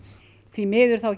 því miður